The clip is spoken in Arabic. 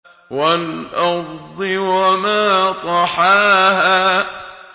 وَالْأَرْضِ وَمَا طَحَاهَا